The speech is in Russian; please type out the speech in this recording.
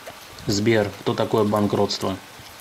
сбер кто такое банкротство